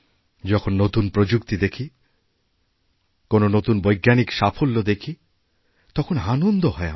যখন নতুন প্রযুক্তি দেখি কোনো নতুন বৈজ্ঞানিক সাফল্য দেখি তখন আনন্দ হয়আমাদের